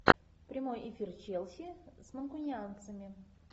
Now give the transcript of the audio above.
прямой эфир челси с манкунианцами